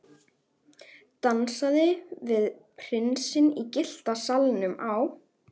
Dansaði við prinsinn í Gyllta salnum á